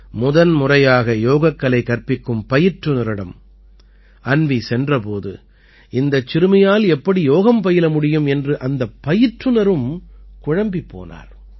முதன்முறையாக யோகக்கலை கற்பிக்கும் பயிற்றுநரிடம் அன்வீ சென்ற போது இந்தச் சிறுமியால் எப்படி யோகம் பயில முடியும் என்று அந்தப் பயிற்றுநரும் குழம்பிப் போனார்